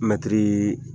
Mɛtiri